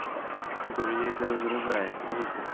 сука меня это раздражает просто